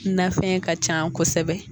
Nafɛn ka can kosɛbɛ